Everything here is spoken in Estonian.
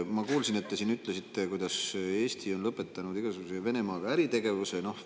Ma kuulsin, et te siin ütlesite, et Eesti on lõpetanud igasuguse äritegevuse Venemaaga.